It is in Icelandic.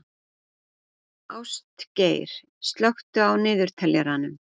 Ástgeir, slökktu á niðurteljaranum.